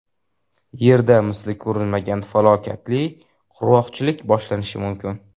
Yerda misli ko‘rilmagan falokatli qurg‘oqchilik boshlanishi mumkin.